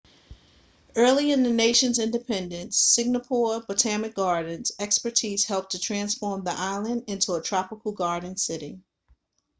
early in the nation's independence singapore botanic gardens' expertise helped to transform the island into a tropical garden city